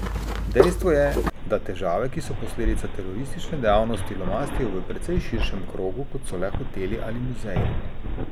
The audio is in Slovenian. Dejstvo je, da težave, ki so posledica teroristične dejavnosti, lomastijo v precej širšem krogu, kot so le hoteli ali muzeji.